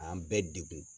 An bɛɛ degun